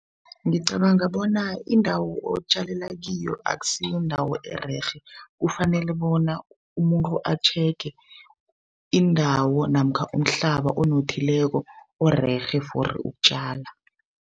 Ngicabanga bona indawo otjalelakiyo akusiyindawo ererhe kufanele bona umuntu a-checker indawo namkha umhlaba onothileko orerhe for ukutjala.